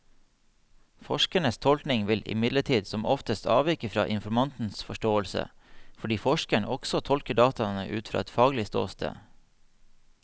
Forskerens tolkning vil imidlertid som oftest avvike fra informantens forståelse, fordi forskeren også tolker dataene ut fra et faglig ståsted.